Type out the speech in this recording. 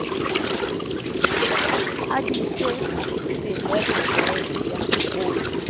a di fe tlelereke ya